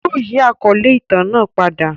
Yóò yi àkọle itan naa pada.